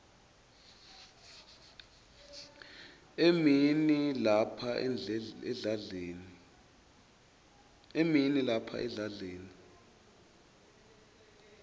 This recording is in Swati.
emini lapha edladleni